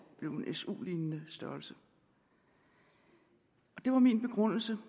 blev af en su lignende størrelse og det var min begrundelse